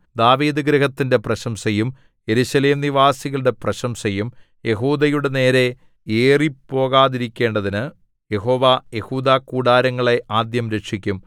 ദാവീദുഗൃഹത്തിന്റെ പ്രശംസയും യെരൂശലേംനിവാസികളുടെ പ്രശംസയും യെഹൂദയുടെ നേരേ ഏറിപ്പോകാതിരിക്കേണ്ടതിനു യഹോവ യെഹൂദാകൂടാരങ്ങളെ ആദ്യം രക്ഷിക്കും